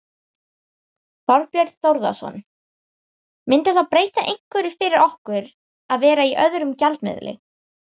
Þorbjörn Þórðarson: Myndi það breyta einhverju fyrir okkur að vera í öðrum gjaldmiðli?